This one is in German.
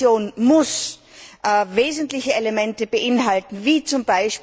Diese Reaktion muss wesentliche Elemente beinhalten wie z.